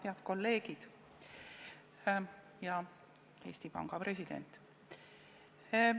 Head kolleegid ja Eesti Panga president!